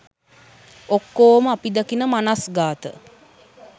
ඔක්කොම අපි දකින මනස්ගාත